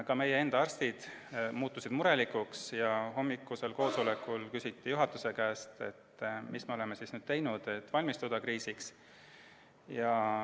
Ka meie enda arstid muutusid murelikuks ja hommikusel koosolekul küsiti juhatuse käest, mida me oleme teinud, et kriisiks valmistuda.